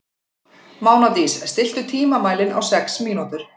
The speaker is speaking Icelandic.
Mánadís, stilltu tímamælinn á sex mínútur.